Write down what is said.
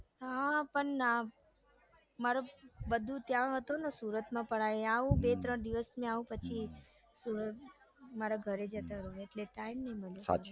હા પણ મારુ બધું ત્યાં હતું સુરતમાં પણ આઈ આવું બે ત્રણ દિવસ માં આવું પછી સુરત મારા ઘરે જતી રૌ એટલે time ના મળે સાચી વાત